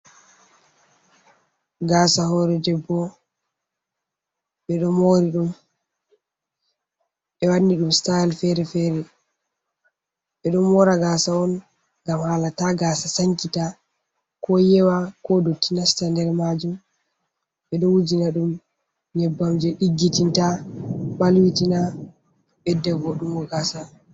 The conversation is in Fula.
Gasa hore debbo ɓeɗo mori ɗum ɓe wanni ɗum stayle fere fere, ɓeɗo mora gasa on ngam hala ta gasa sankita ko yewa ko doti nasta nder majum, ɓe ɗo wujina ɗum nyebbam je diggitinta balwitina beddebo ɗuɗɗungo gasa.